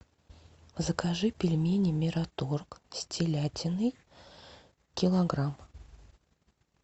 закажи пельмени мираторг с телятиной килограмм